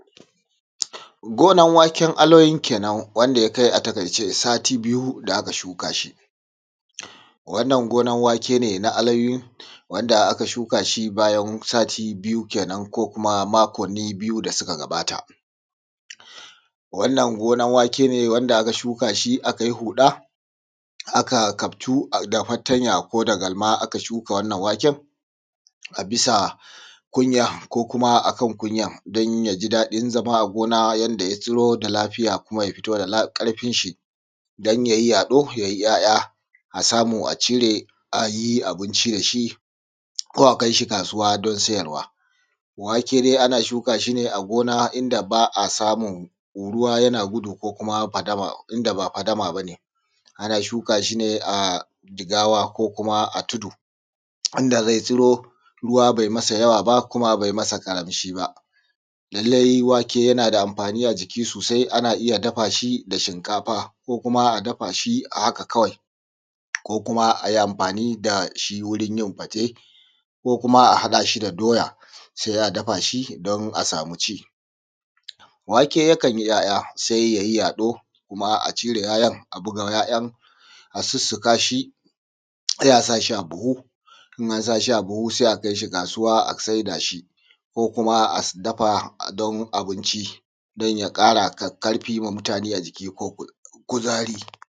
Gonar waken aloyin kenan wanda ya kai a takaice sati biyu aka shuka shi wannan gonar wake ne na aloyu ,wake ne da aka shuka shi yau sati biyu kenan ko kuma makonni biyu da suka gabata. Wannan gonar wake ne da aka shuka shi aka yi wani huɗa da ka yi kaftu da galma aka shuka wannan waken a bisa kunya ko kuma akan kunyan don ya ji daɗin zama a gonar na yanda ya zuro da ya lafiya ya fito da ƙarfin shi don ya yi yaɗo yai 'ya'ya. Don a samu a cire a yi abinci da shi ko a kai shi kasuwa don sayarwa. Wake dai ana shuka shi ne a gona in da ba a samun ruwa yadda yana gudu ko kuma a fadama inda ba fadama ba ne. Ana shuka shi ne a jigawa ko kuma a tudu wanda zai tsuro ruwa bai masa yawa ba kuma bai masa ƙaranci ba. Lallai wake ana da amfani a jiki sosai ana iya dafa shi da shinkafa ko ana iya dafa shi haka kawai ko kuma a yi amfani da shi wurin yin fate ko kuma a haɗa shi da doya sai a dafa shi don a sama ci. Wake yakan yi 'ya'ya sai ya yi yaɗo kuma a cire 'ya'yan a buga 'ya'yan a sussuka shi sai a sa shi buhu sai a kai shi kasuwa sai a saida shi ko kuma a dafa don abincin dan ya ƙara ƙarfi ma mutane da jiki ko kuzari.